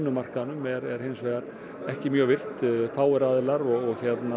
markaðnum er hins vegar ekki mjög virkt fáir aðilar og